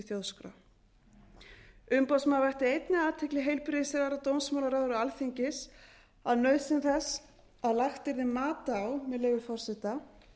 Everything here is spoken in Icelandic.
þjóðskrá umboðsmaður vakti einnig athygli heilbrigðisráðherra dómsmálaráðherra og alþingis á nauðsyn þess að lagt yrði mat á með leyfi forseta